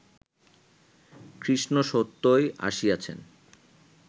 কৃষ্ণ সত্যই আসিয়াছেন